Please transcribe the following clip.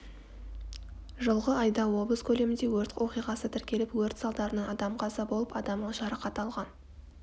жылғы айда облыс көлемінде өрт оқиғасы тіркеліп өрт салдарынан адам қаза болып адам жарақат алған